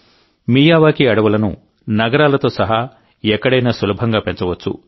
Miyawaki అడవులను నగరాలతో సహా ఎక్కడైనా సులభంగా పెంచవచ్చు